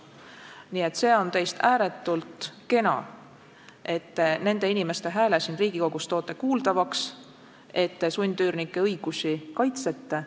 Nii et see on teist ääretult kena, et te nende inimeste hääle siin Riigikogus teete kuuldavaks, et te sundüürnike õigusi kaitsete.